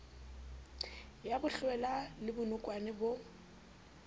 ya bohlwela le bonokwane bo